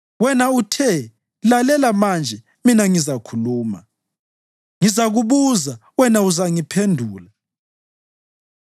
Wena uthe, ‘Lalela manje, mina ngizakhuluma; ngizakubuza, wena uzangiphendula.’